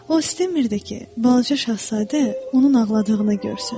O istəmirdi ki, balaca şahzadə onun ağladığını görsün.